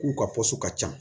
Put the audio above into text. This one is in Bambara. K'u ka ka ca